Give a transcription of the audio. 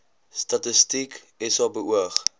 statistiek sa beoog